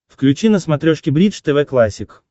включи на смотрешке бридж тв классик